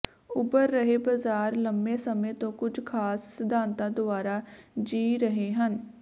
ਉਭਰ ਰਹੇ ਬਾਜ਼ਾਰ ਲੰਬੇ ਸਮੇਂ ਤੋਂ ਕੁਝ ਖਾਸ ਸਿਧਾਂਤਾਂ ਦੁਆਰਾ ਜੀ ਰਹੇ ਹਨ